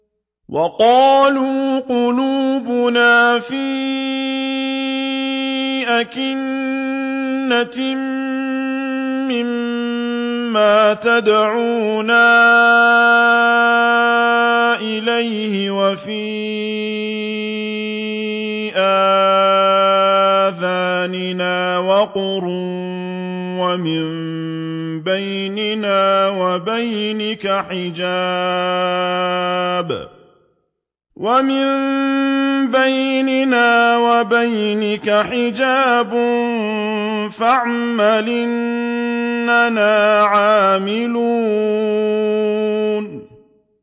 وَقَالُوا قُلُوبُنَا فِي أَكِنَّةٍ مِّمَّا تَدْعُونَا إِلَيْهِ وَفِي آذَانِنَا وَقْرٌ وَمِن بَيْنِنَا وَبَيْنِكَ حِجَابٌ فَاعْمَلْ إِنَّنَا عَامِلُونَ